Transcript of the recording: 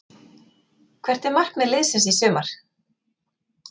Hvert er markmið liðsins í sumar?